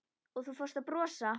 Og þú fórst að brosa.